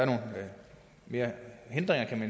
kan man